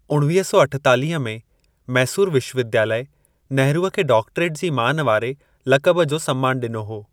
उणिवीह सौ अठेतालीह में, मैसूर विश्वविद्यालय नेहरूअ खे डॉक्टरेट जी मान वारे लक़ब जो सम्मान ॾिनो हो।